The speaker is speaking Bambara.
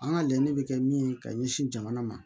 An ka laɲini bɛ kɛ min ye ka ɲɛsin jamana ma